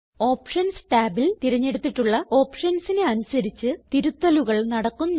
options ടാബിൽ തിരഞ്ഞെടുത്തിട്ടുള്ള ഓപ്ഷൻസിന് അനുസരിച്ച് തിരുത്തലുകൾ നടക്കുന്നു